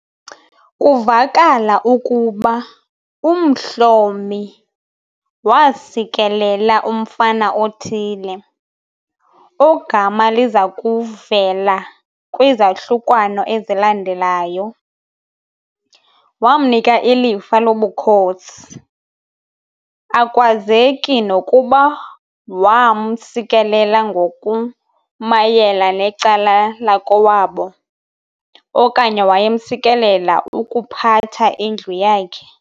Kuvakala ukuba uMhlomi waasikelela umfana othile, ogama lizakuvela kwizahlukwana ezilandelayo, wamnika ilifa lobukhosi. Akwazeki nokuba waamsikelela ngokumayela necala lakowabo, okanye wayemsikelela ukuphatha indlu yakhe.